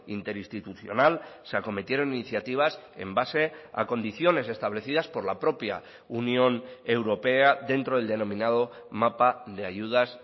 interinstitucional se acometieron iniciativas en base a condiciones establecidas por la propia unión europea dentro del denominado mapa de ayudas